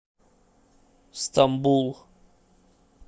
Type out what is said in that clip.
стамбул